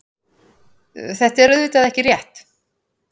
Þetta er auðvitað ekki rétt.